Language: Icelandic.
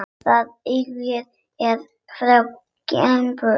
Það yngra er frá Gambíu.